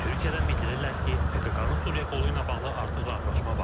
Türkiyədən bildirirlər ki, PKK-nın Suriya qolu ilə bağlı artıq razılaşma var.